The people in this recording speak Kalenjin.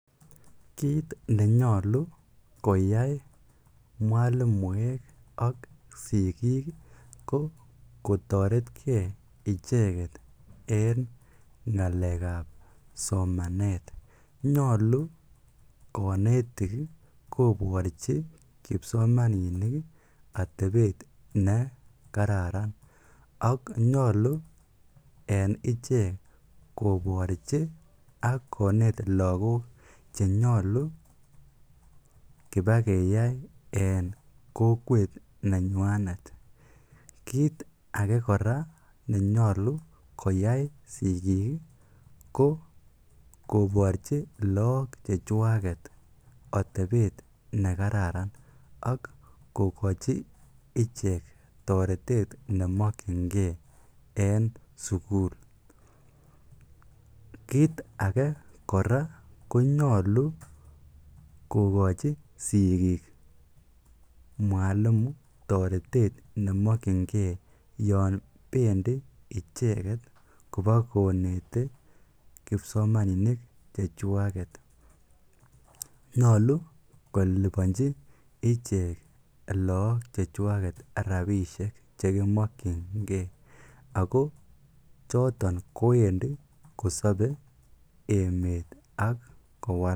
Kiit nenyolu koyai mwalimuek ak sikik ko kotoretke icheketen ngalekab somanet, nyolu konetik koborchi kipsomaninik atebet ne kararan, ak nyolu en ichek koborchi ak konet lokok chenyolu kibakeyai en kokwet nenywanet, kiit akee nenyolu koyai sikik ko koborchi look chechwaket atebet nekararan ak kokochi ichek toretet nemokyinge en sukul, kiit akee kora konyolu kokochi sikik mwalimu toretet nemokyinge yoon bendi icheket kibokonete kipsomaninik chechwaket, nyolu kolibonchi ichek look chechwaket rabishek chekimokyinge ak ko choton kowendi kosobe emet ak kowalak.